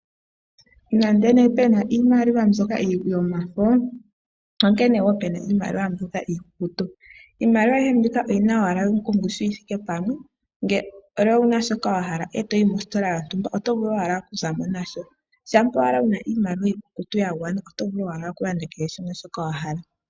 Nande pena iimaliwa yomafo opena wo iimaliwa iikukutu. Iimaliwa ayihe oyina owala ongushu yithike pamwe. Ngele owayi mostola wuna mo shiwahala oto vulu okuza mo nasho. Shampa owala wuyina yagwana oto vulu okulanda shoka wahala.